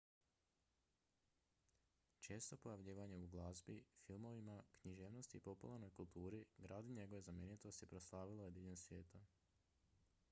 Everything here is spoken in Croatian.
često pojavljivanje u glazbi filmovima književnosti i popularnoj kulturi grad i njegove znamenitosti proslavilo je diljem svijeta